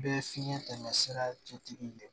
Bɛɛ ye fiɲɛ tɛmɛ sira cɛtigi de ye